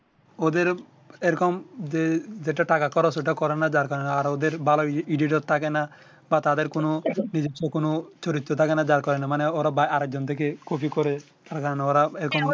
ওদের ও এই রকম যে যেটা টাকা খরচ ঐ টা করে না যার কারণে আর ওদের ভালো Edititor থাকে না বা তাদের কোনো নিজেস্ব কোনো চরিত্র থাকে না যার কারণে মানে ওরা আরেক জনের থেকে কপি করে তার আর কারণে ওরা এই রকম